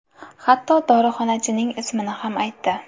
Hatto dorixonachining ismini ham aytdi.